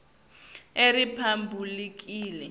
eriphabhulikhi